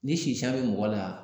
Ni sisan be mɔgɔ la